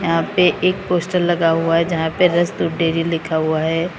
यहां पे एक पोस्टर लगा हुआ है जहां पे रस दूध डेयरी लिखा हुआ है।